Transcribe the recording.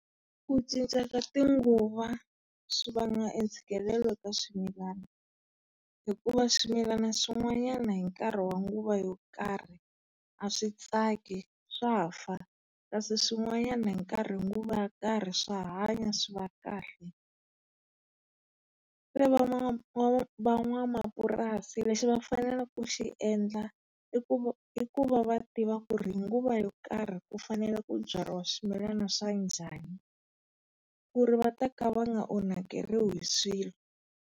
Ku cinca ka tinguva swi vanga e ntshikelelo ka swimilwana. Hikuva swimilana swin'wanyana hi nkarhi wa nguva yo karhi a swi tsaki swa fa. Kasi swin'wanyani hi hi nguva ya karhi swa hanya swi va khale. van'wanamapurasi lexi va fanele ku xi endla i i kuva va tiva ku ri hi nguva yo karhi ku fanele ku byariwa swimilana swa njhani ku ri va ta ka vanga onhakeriwi hi swilo.